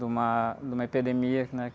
De uma, de uma epidemia que, né?